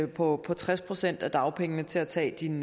på tres procent af dagpengene til at tage din